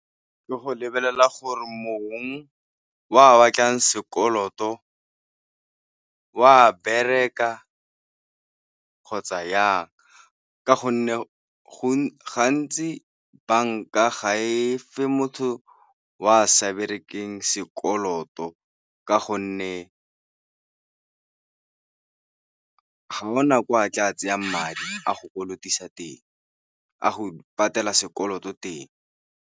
Ke go lebelela gore mong wa batlang sekoloto, o a bereka kgotsa yang ka gonne gantsi banka ga e fe motho o a sa berekeng sekoloto ka gonne ga go na ko a tla tseyang madi a go kolotisa teng, a go patela sekoloto teng.